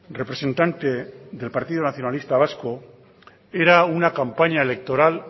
representante del partido nacionalista vasco era una campaña electoral